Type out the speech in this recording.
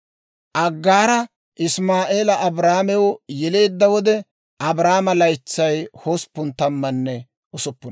Aggaara Isimaa'eela Abraamew yeleedda wode, Abraamo laytsay hosppun tammanne usuppuna.